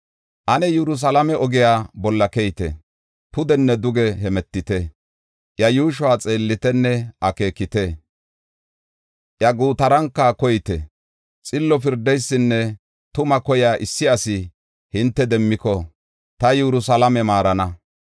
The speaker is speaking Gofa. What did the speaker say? “Ane Yerusalaame ogiya bolla keyite; pudenne duge hemetite; iya yuushuwa xeellitenne akeekite; iya gutaranka koyite. Xillo pirdiyanne tuma koya issi asi hinte demmiko, ta Yerusalaame maarana.